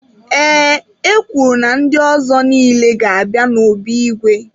Ee, e kwuru na ndị ọzọ niile ga-abịa n'obi igwe.